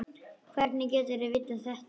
Hvernig getur þú vitað þetta?